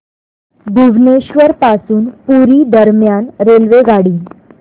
भुवनेश्वर पासून पुरी दरम्यान रेल्वेगाडी